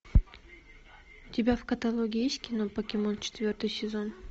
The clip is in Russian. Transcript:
у тебя в каталоге есть кино покемон четвертый сезон